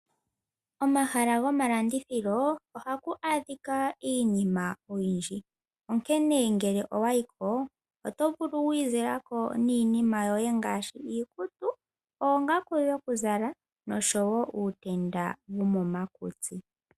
Omahala gomalandithilo ohaku adhika iinima oyindji, onkene ngele owa yi ko, oto vulu wu izile ko niinima yoye ngaashi iikutu, oongaku dhokuzala noshowo uutenda womomakutsi.